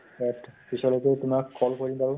পিছলৈকো তোমাক call কৰিম বাৰু ।